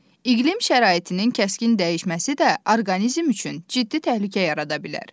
İqlim şəraitinin kəskin dəyişməsi də orqanizm üçün ciddi təhlükə yarada bilər.